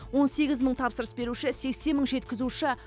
он сегіз мың тапсырыс беруші сексен мың жеткізуші